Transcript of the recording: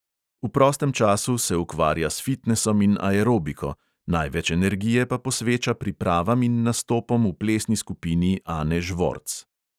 V prostem času se ukvarja s fitnesom in aerobiko, največ energije pa posveča pripravam in nastopom v plesni skupini ane žvorc.